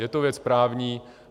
Je to věc právní.